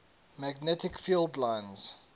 magnetic field lines